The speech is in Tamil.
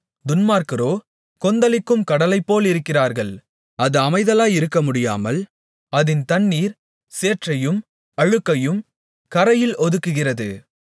துன்மார்க்கரோ கொந்தளிக்கும் கடலைப்போலிருக்கிறார்கள் அது அமைதலாயிருக்கமுடியாமல் அதின் தண்ணீர் சேற்றையும் அழுக்கையும் கரையில் ஒதுக்குகிறது